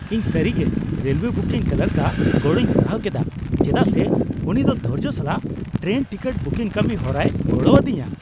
ᱤᱧ ᱥᱟᱹᱨᱤᱜᱮ railway booking ᱠᱞᱟᱨᱠᱼᱟᱜ ᱜᱚᱲᱚᱧ ᱥᱟᱨᱦᱟᱣ ᱠᱮᱫᱟ ᱪᱮᱫᱟᱜ ᱥᱮ ᱩᱱᱤ ᱫᱚ ᱫᱷᱳᱨᱡᱳ ᱥᱟᱞᱟᱜ ᱴᱨᱮᱱ ᱴᱤᱠᱤᱴ ᱵᱩᱠᱤᱝ ᱠᱟᱹᱢᱤ ᱦᱚᱨᱟᱨᱮᱭ ᱜᱚᱲᱚ ᱟᱫᱤᱧᱟ ᱾